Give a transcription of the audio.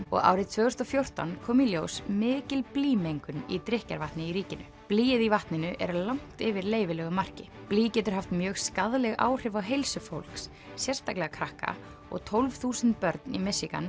og árið tvö þúsund og fjórtán kom í ljós mikil blýmengun í drykkjarvatni í ríkinu blýið í vatninu er langt yfir leyfilegu marki blý getur haft mjög skaðleg áhrif á heilsu fólks sérstaklega krakka og tólf þúsund börn í